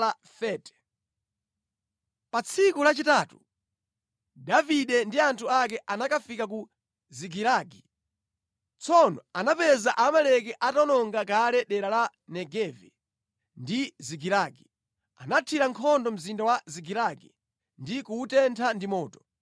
Pa tsiku lachitatu, Davide ndi anthu ake anakafika ku Zikilagi. Tsono anapeza Aamaleki atawononga kale dera la Negevi ndi Zikilagi. Anathira nkhondo mzinda wa Zikilagi ndi kuwutentha ndi moto.